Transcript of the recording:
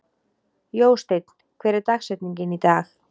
Jósteinn, hver er dagsetningin í dag?